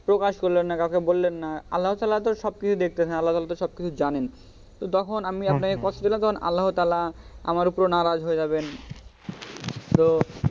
প্রকাশ করলেন না কাওকে বললেন না আল্লাহা তালহা তো সব কিছু দেখছেন আল্লাহা তালহা তো সব কিছু জানেন তখন আমি আপানাকে কষ্ট দিলাম তো তখন আল্লাহ তালহা আমার উপরে নারাজ হয়ে যাবেন তো,